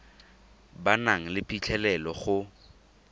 ba nang le phitlhelelo go